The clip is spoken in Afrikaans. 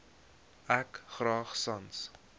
ek graag sans